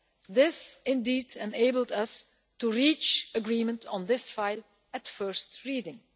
This indeed enabled us to reach agreement on this file at first reading.